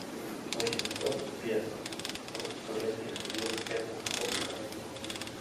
восемьсот песо в турецких лир это сколько